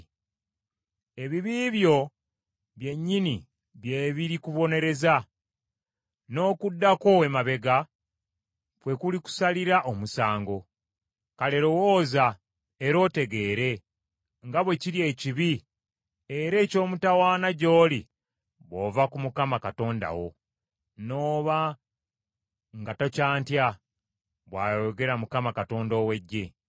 Ebibi byo byennyini bye biri kubonereza, n’okudda kwo emabega kwe kulikusalira omusango. Kale lowooza era otegeere nga bwe kiri ekibi era eky’omutawaana gy’oli bw’ova ku Mukama Katonda wo, n’oba nga tokyantya,” bw’ayogera Mukama , Katonda ow’eggye.